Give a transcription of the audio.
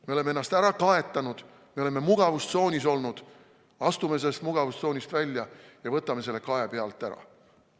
Me oleme ennast ära kaetanud, me oleme mugavustsoonis olnud, astume sellest mugavustsoonist välja ja võtame kae silmade pealt ära.